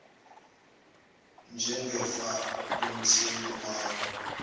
njengefa lomthengi wawo